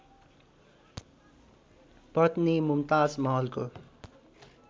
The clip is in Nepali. पत्नी मुमताज महलको